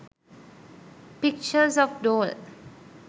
pictures of doll